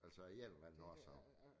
Altså af en eller anden årsag